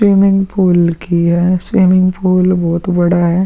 Swimming pool की है। Swimming pool बोहोत बड़ा है।